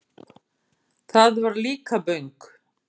Það var Líkaböng.